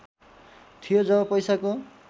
थियो जब पैसाको